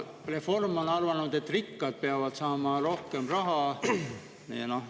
Reform on arvanud, et rikkad peavad saama rohkem raha.